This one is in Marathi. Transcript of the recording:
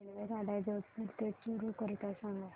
रेल्वेगाड्या जोधपुर ते चूरू करीता सांगा